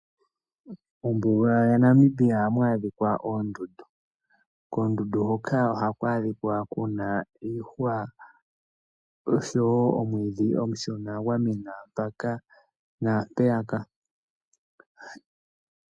Mombuga yaNamibia ohamu adhika oondundu. Koondundu hoka ohaku adhika ku na iihwa osho wo omwiidhi omushona gwa mena mpaka naampeyaka.